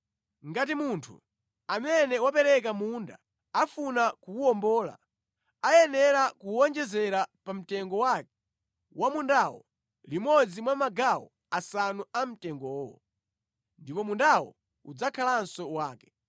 Ngati munthu amene wapereka munda afuna kuwuwombola, ayenera kuwonjezera pa mtengo wake wa mundawo, limodzi mwa magawo asanu a mtengowo. Ndipo mundawo udzakhalanso wake.